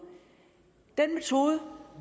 den metode